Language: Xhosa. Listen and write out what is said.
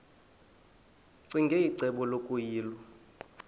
ccinge icebo lokuyilwa